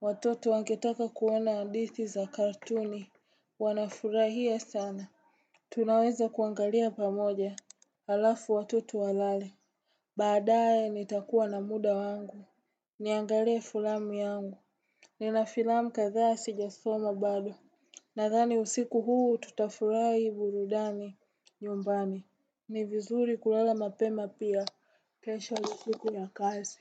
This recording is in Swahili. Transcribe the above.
Watoto wangetaka kuona hadithi za kartuni. Wanafurahia sana. Tunaweza kuangalia pamoja. Halafu watoto walale. Baadae nitakuwa na muda wangu. Niangalie filamu yangu. Nina filamu kadhaa sijasoma bado. Nadhani usiku huu tutafurahi burudani nyumbani. Ni vizuri kulala mapema pia. Kesha usiku ya kazi.